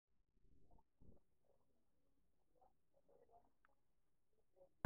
naayiarayu tesiokinoto neunoyu onkulie daiki tewueji nebo Kat B1 900 1600 2.5 5.3 6.6